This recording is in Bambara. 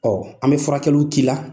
Ɔ an bɛ furakɛliw k'i la.